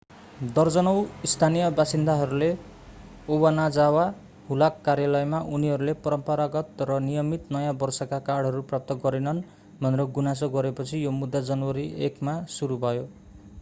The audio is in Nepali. दर्जनौं स्थानीय बासिन्दाहरूले ओबनाजावा हुलाक कार्यालयमा उनीहरूले परम्परागत र नियमित नयाँ वर्षका कार्डहरू प्राप्त गरेनन् भनेर गुनासो गरेपछि यो मुद्दा जनवरी 1 मा सुरु भयो